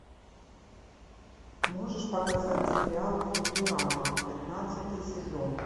можешь показать сериал футурама пятнадцатый сезон